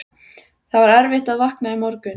Það var erfitt að vakna í morgun.